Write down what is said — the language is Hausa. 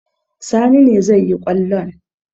Sani ne zai yi kwallon.